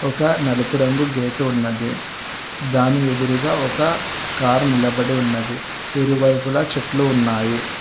ఇంకా నలుపు రంగు గేటు ఉన్నది దాని ఎదురుగా ఒక కారు నిలబడి ఉన్నది ఇరువైపుల చెట్లు ఉన్నాయి.